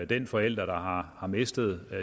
den forælder der har har mistet